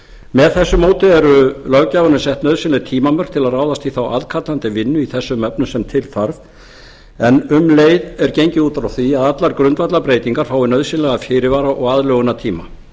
með þessu móti eru löggjafanum sett nauðsynleg tímamörk til að ráðast í þá aðkallandi vinnu í þessum efnum sem til þarf en um leið er gengið út frá því að allar grundvallarbreytingar fái nauðsynlegan fyrirvara og aðlögunartíma